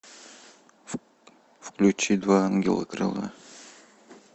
включи два ангела крыла